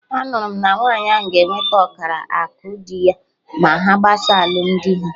Anụrụ m na nwaanyị ahụ ga enwete ọkara akụ dị ya ma ha gbasaa alụmdi ha